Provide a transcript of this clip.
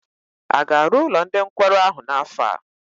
A ga-arụ ụlọ ndị nkwarụ ahụ n'afọ a?